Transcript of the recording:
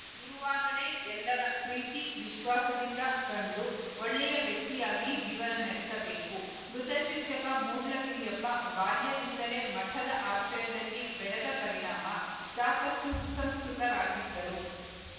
ಇರುವಾಗಲೇ ಎಲ್ಲರ ಪ್ರೀತಿ ವಿಶ್ವಾಸದಿಂದ ಕಂಡು ಒಳ್ಳೆಯ ವ್ಯಕ್ತಿಯಾಗಿ ಜೀವನ ನಡೆಸಬೇಕು ಮೃತ ಶಿಕ್ಷಕ ಮೂಡ್ಲಗಿರಿಯಪ್ಪ ಬಾಲ್ಯದಿಂದಲೇ ಮಠದ ಆಶ್ರಯದಲ್ಲಿ ಬೆಳೆದ ಪರಿಣಾಮ ಸಾಕಷ್ಟುಸುಂಸ್ಕೃತರಾಗಿದ್ದರು